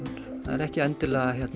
það er ekki endilega